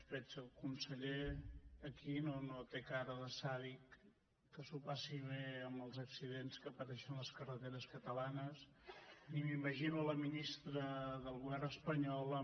veig el conseller aquí i no té cara de sàdic que s’ho passi bé amb els accidents que pateixen les carreteres catalanes ni m’imagino la ministra del go·vern espanyol amb